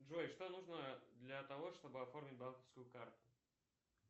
джой что нужно для того чтобы оформить банковскую карту